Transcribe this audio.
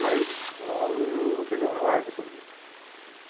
Mas não não fiz nenhum alarde sobre isso.